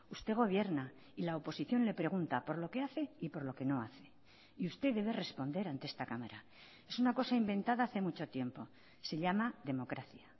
usted gobierna y la oposición le pregunta por lo que hace y por lo que no hace y usted debe responder ante esta cámara es una cosa inventada hace mucho tiempo se llama democracia